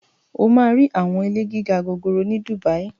wà á rí àwọn ilé gíga gòòrò ni Dubai.